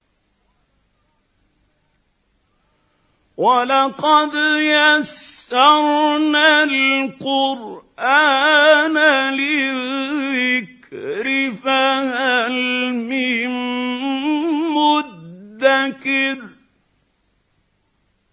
وَلَقَدْ يَسَّرْنَا الْقُرْآنَ لِلذِّكْرِ فَهَلْ مِن مُّدَّكِرٍ